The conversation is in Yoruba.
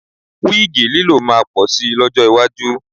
Wíìgì lílò máa pọ̀ si lọ́jọ́ iwájú